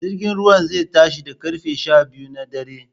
Jirgin ruwan zai tashi da ƙarfe sha biyu na dare